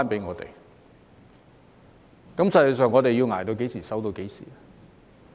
我們實際上要捱至何時、守至何時？